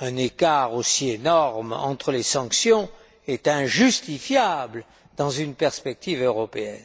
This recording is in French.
un écart aussi énorme entre les sanctions est injustifiable dans une perspective européenne,